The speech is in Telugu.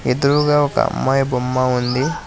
ఎదురగా ఒక అమ్మాయి బొమ్మ ఉంది.